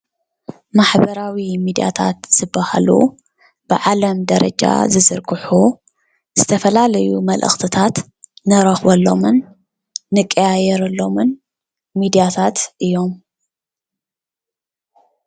ማሕበራዊ ሚድያታት ዝበሃሉ ብዓለም ደረጃ ዝዝርግሑ ዝተፈላለዩ መልእኽትታት ንረኽበሎምን ንቀያየረሎምን ሚድያታት እዮም፡፡